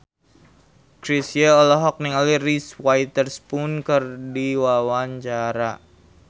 Chrisye olohok ningali Reese Witherspoon keur diwawancara